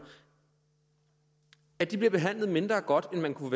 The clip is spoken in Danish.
at de bliver behandlet mindre godt end man kunne